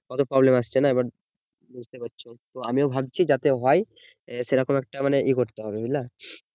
কত problem আসছে না এবার বুঝতে পারছো তো আমিও ভাবছি যাতে হয় সেরকম একটা মানে একটা ইয়ে করতে হবে বুঝলা